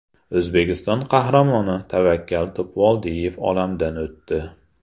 O‘zbekiston Qahramoni Tavakkal Topvoldiyev olamdan o‘tdi.